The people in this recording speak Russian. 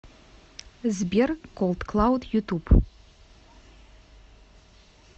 сбер колдклауд ютуб